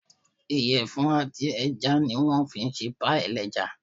Ìyẹ̀fun àti ẹja ní wọ́n fí n ṣe páìì ẹlẹ́ja